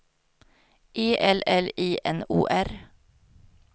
E L L I N O R